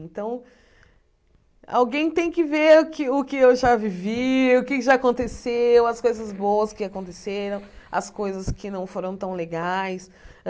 Então, alguém tem que ver o que o que eu já vivi, o que já aconteceu, as coisas boas que aconteceram, as coisas que não foram tão legais.